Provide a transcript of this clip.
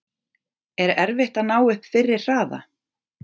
Er erfitt að ná upp fyrri hraða?